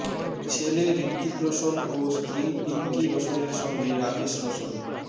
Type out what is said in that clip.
ছেলে ঋত্বিক রোশন ও স্ত্রী পিঙ্কি রোশনের সঙ্গে রাকেশ রোশন